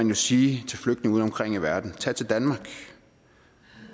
man sige til flygtninge udeomkring i verden tag til danmark